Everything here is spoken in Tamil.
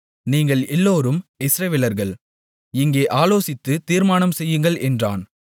நீங்கள் எல்லோரும் இஸ்ரவேலர்கள் இங்கே ஆலோசித்துத் தீர்மானம்செய்யுங்கள் என்றான்